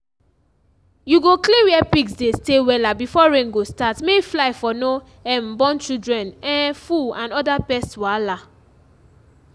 you go clean where pigs dey stay wella before rain go start may fly for no um born children um full and other pest wahala